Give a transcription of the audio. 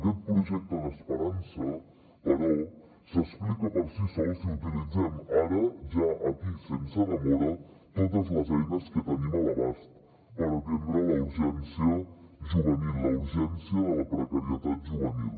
aquest projecte d’esperança però s’explica per si sol si utilitzem ara ja aquí sense demora totes les eines que tenim a l’abast per atendre la urgència juvenil la urgència de la precarietat juvenil